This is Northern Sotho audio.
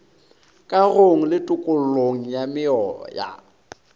kagong le tokollong ya meoya